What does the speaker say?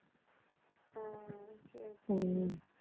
உம் சரி, சரி